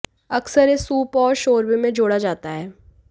अक्सर यह सूप और शोरबे में जोड़ा जाता है